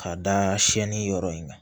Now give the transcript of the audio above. K'a da siyɛnni yɔrɔ in kan